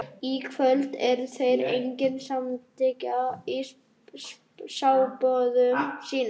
Í kvöld eru þeir einnig samstíga í spádómum sínum.